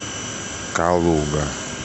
калуга